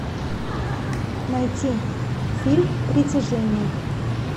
найти фильм притяжение